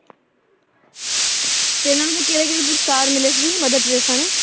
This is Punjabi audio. ਤੇ ਇਹਨਾਂ ਨੂੰ ਵੀ ਕਿਹੜੇ ਕਿਹੜੇ ਪੁਰਸਕਾਰ ਮਿਲੇ ਸੀ ਮਦਰ ਟੈਰੇਸਾ ਨੂੰ?